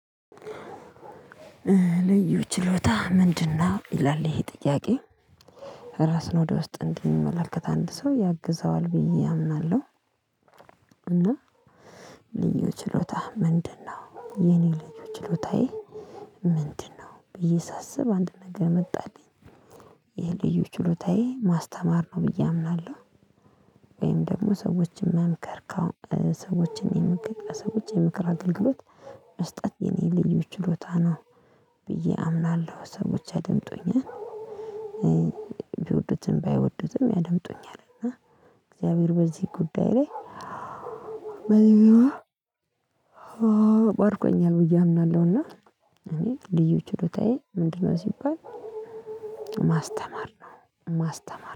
ልዩ ችሎታ ምንድነው ይላል ይሄ ጥያቄ? ራስን ወደ ውስጥ እንድንመለከት አንድ ሰው ያግዘዋል ብዬ አምናለሁ። እና ልዩ ችሎታህ ምንድነው የኔ ልዩ ችሎታዬ? ምንድነው ብዬ ሳስብ አንድ ነገር መጣልኝ። ይሄ ልዩ ችሎታዬ ማስተማር ነው ብዬ አምናለሁ። ወይም ደግሞ ሰዎችን መምከር ከሰዎችን የመከር ሰዎችን የምክር አገልግሎት መስጠት የኔ ልዩ ችሎታ ነው። ብዬ አምናለሁ ሰዎች ያድምጡኛል። ቢወዱትም ባይወዱትም ያደምጡኛል እና እግዚአብሔር በዚህ ጉዳይ ላይ። በዚህ ባርኩኛል ብዬ አምናለሁና። እኔ ልዩ ችሎታዬ ምንድነው ሲባል። ማስተማር ነው ማስተማር